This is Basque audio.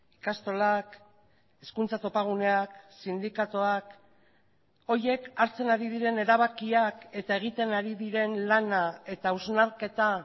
ikastolak hezkuntza topaguneak sindikatuak horiek hartzen ari diren erabakiak eta egiten ari diren lana eta hausnarketa